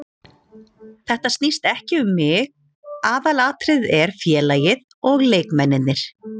Þetta snýst ekki um mig, aðalatriðið er félagið og leikmennirnir.